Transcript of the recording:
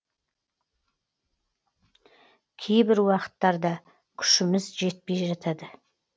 кейбір уақыттарда күшіміз жетпей жатады